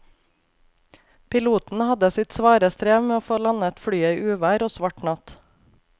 Piloten hadde sitt svare strev med å få landet flyet i uvær og svart natt.